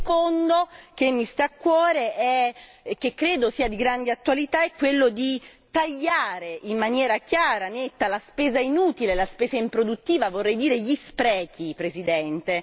Il secondo, che mi sta a cuore e che credo sia di grande attualità, è quello di tagliare, in maniera chiara, netta, la spesa inutile, la spesa improduttiva, vorrei dire gli sprechi, Presidente.